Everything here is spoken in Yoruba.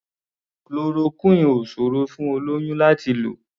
Chloroquine ò ṣòrò fún olóyún láti lò.